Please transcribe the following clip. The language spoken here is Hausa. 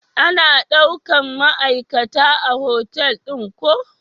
Ana daukan ma'aikata a hotal ɗin ku?